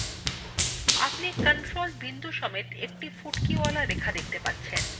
আপনি control বিন্দুসমেত একটি ফুটকিওয়ালা রেখা দেখতে পাচ্ছেন